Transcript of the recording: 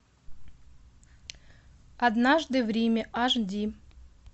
однажды в риме аш ди